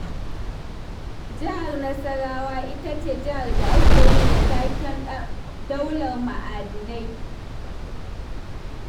Jihar Nasarawa ita ce jihar da ake yi wa taken daular ma'adinai.